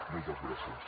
moltes gràcies